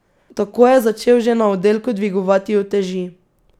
Tako je začel že na oddelku dvigovati uteži.